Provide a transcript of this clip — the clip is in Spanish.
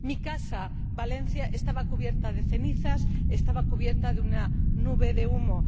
Mi casa, en Valencia, estaba cubierta de cenizas, estaba cubierta de una nube de humo.